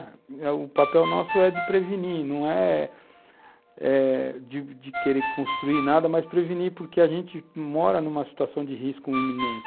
O papel nosso é de prevenir, não é eh de de querer construir nada, mas prevenir, porque a gente mora numa situação de risco iminente.